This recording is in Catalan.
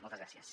moltes gràcies